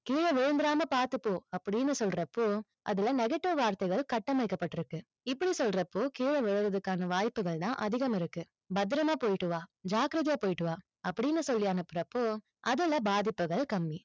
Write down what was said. கீழ விழுந்திராம பார்த்து போ, அப்படின்னு சொல்றப்போ, அதுல negative வார்த்தைகள் கட்டமைக்கப்பட்டிருக்கு. இப்படி சொல்றப்போ, கீழ விழறதுக்கான வாய்ப்புகள் தான் அதிகம் இருக்கு. பத்திரமா போயிட்டு வா, ஜாக்கிரதையா போயிட்டு வா, அப்படின்னு சொல்லி அனுப்புறப்போ, அதுல பாதிப்புகள் கம்மி.